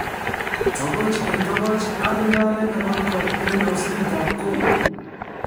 Togoch en togoch ak ndaret ne kolkol en osnetab Congo